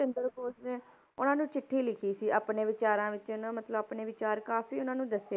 ਚੰਦਰ ਬੋਸ ਨੇ ਉਹਨਾਂ ਨੂੰ ਚਿੱਠੀ ਲਿਖੀ ਸੀ ਆਪਣੇ ਵਿਚਾਰਾਂ ਵਿੱਚ ਇਹਨੇ ਮਤਲਬ ਆਪਣੇ ਵਿਚਾਰ ਕਾਫ਼ੀ ਉਹਨਾਂ ਨੂੰ ਦੱਸੇ,